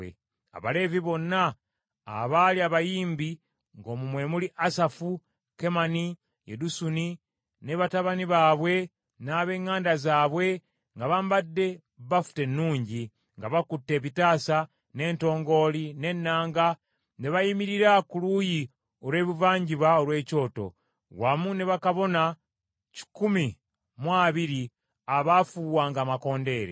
Abaleevi bonna abaali abayimbi, ng’omwo mwe muli Asafu, Kemani, Yedusuni ne batabani baabwe n’ab’eŋŋanda zaabwe nga bambadde bafuta ennungi, nga bakutte ebitaasa, n’entongooli, n’ennanga, ne bayimirira ku luuyi olw’ebuvanjuba olw’ekyoto, wamu ne bakabona kikumi mu abiri abaafuuwanga amakondeere.